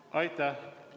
Aitäh!